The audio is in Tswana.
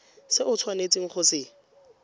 se o tshwanetseng go se